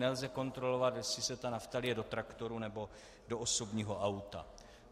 Nelze kontrolovat, jestli se ta nafta lije do traktoru, nebo do osobního auta.